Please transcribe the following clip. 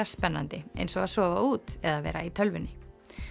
spennandi eins og að sofa út eða vera í tölvunni